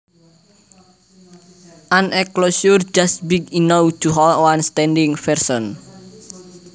An enclosure just big enough to hold one standing person